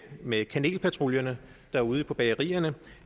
med kanelpatruljerne derude på bagerierne